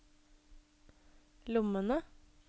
lommene